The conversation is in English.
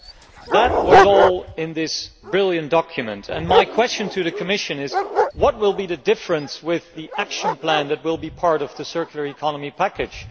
All that was in this brilliant document, and my question to the Commission is what will be the difference with the action plan that will be part of the circular economy package?